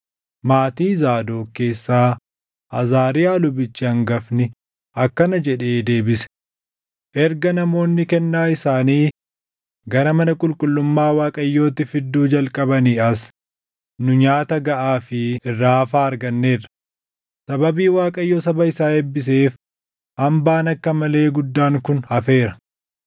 maatii Zaadoq keessaa Azaariyaa lubichi hangafni akkana jedhee deebise; “Erga namoonni kennaa isaanii gara mana qulqullummaa Waaqayyootti fidduu jalqabanii as nu nyaata gaʼaa fi irraa hafaa arganneerra; sababii Waaqayyo saba isaa eebbiseef hambaan akka malee guddaan kun hafeera.”